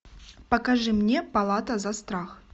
покажи мне палата за страх